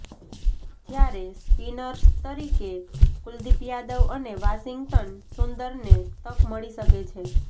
જ્યારે સ્પિનર્સ તરીકે કુલદીપ યાદવ અને વાશિંગ્ટન સુંદરને તક મળી શકે છે